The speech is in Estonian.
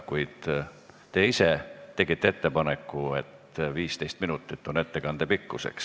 Kuid te ise tegite ettepaneku, et ettekande pikkus on 15 minutit.